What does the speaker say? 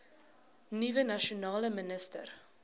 nuwe nasionale minister